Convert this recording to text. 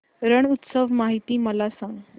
रण उत्सव माहिती मला सांग